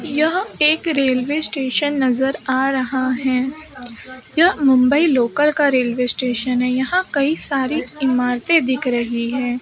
यह एक railway station नजर आ रहा है यह मुंबई लोकल का रेलवे स्टेशन है यहां कई सारे इमारतें दिख रही हैं।